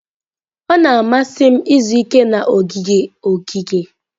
Ọ na-amasị m izu ike na ogige ogige.